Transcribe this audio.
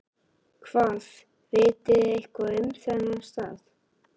Hvað, vitið þið eitthvað um þennan stað?